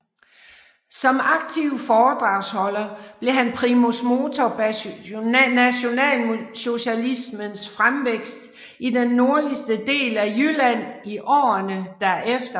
Som aktiv foredragsholder blev han primus motor bag nationalsocialismens fremvækst i den nordligste del af Jylland i årene derefter